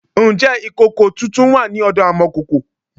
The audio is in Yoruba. Ǹjẹ́ ìkòkò tuntun wà ní ọ̀dọ amọ̀kòkò?